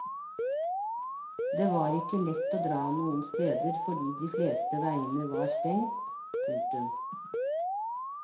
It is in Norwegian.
Det var ikke lett å dra noen steder fordi de fleste veiene var stengt. punktum